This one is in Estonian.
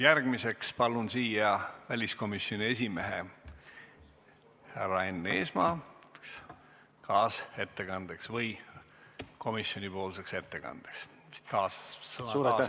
Järgmiseks palun siia väliskomisjoni esimehe härra Enn Eesmaa kaasettekandeks või komisjonipoolseks ettekandeks, vist kaasettekannet ei kasutata enam.